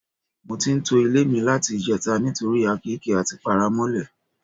Mo ti ń to ilé mi láti ìje̩ta nítorí àkééke àti paramó̩lè̩.